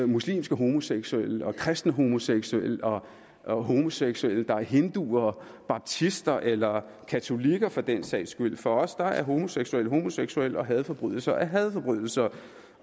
muslimske homoseksuelle og kristne homoseksuelle og homoseksuelle der er hinduer baptister eller katolikker for den sags skyld for os er homoseksuelle homoseksuelle og hadforbrydelser er hadforbrydelser